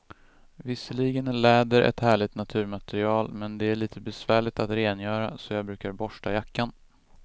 Visserligen är läder ett härligt naturmaterial, men det är lite besvärligt att rengöra, så jag brukar borsta jackan.